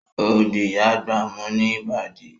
O di Ìyá àgbà mú ní Ìbàdí